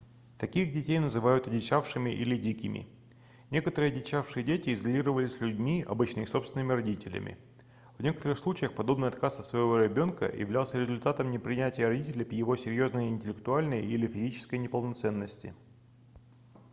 таких детей называют одичавшими или дикими". некоторые одичавшие дети изолировались людьми обычно их собственными родителями. в некоторых случаях подобный отказ от своего ребёнка являлся результатом непринятия родителями его серьёзной интеллектуальной или физической неполноценности